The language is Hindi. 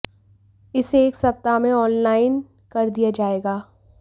इसे एक सप्ताह में ऑन लाइन कर दिया जाएगा